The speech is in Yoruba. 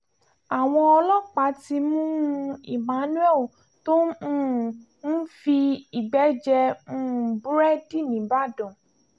àwọn ọlọ́pàá ti mú un emmanuel tó um ń fi igbe jẹ um búrẹ́dì nìbàdàn